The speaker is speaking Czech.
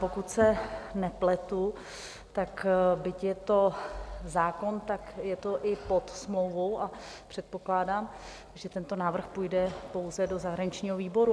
Pokud se nepletu, tak byť je to zákon, tak je to i pod smlouvou, a předpokládám, že tento návrh půjde pouze do zahraničního výboru.